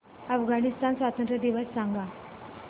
अफगाणिस्तान स्वातंत्र्य दिवस सांगा